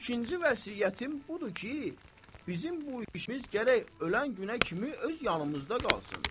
İkinci vəsiyyətim budur ki, bizim bu işimiz gərək ölən günə kimi öz yanımızda qalsın.